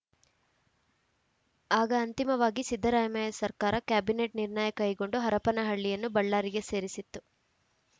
ಆಗ ಅಂತಿಮವಾಗಿ ಸಿದ್ದರಾಮಯ್ಯ ಸರ್ಕಾರ ಕ್ಯಾಬಿನೆಟ್‌ ನಿರ್ಣಯ ಕೈಗೊಂಡು ಹರಪನಹಳ್ಳಿಯನ್ನು ಬಳ್ಳಾರಿಗೆ ಸೇರಿಸಿತ್ತು